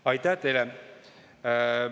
Aitäh teile!